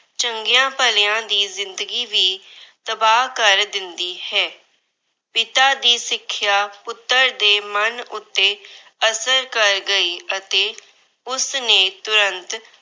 ਚੰਗਿਆਂ ਭਲਿਆਂ ਦੀ ਜਿੰਦਗੀ ਵੀ ਤਬਾਹ ਕਰ ਦਿੰਦੀ ਹੈ। ਪਿਤਾ ਦੀ ਸਿੱਖਿਆ ਪੁੱਤਰ ਦੇ ਮਨ ਉੱਤੇ ਅਸਰ ਗਈ ਅਤੇ ਉਸਨੇ ਤੁਰੰਤ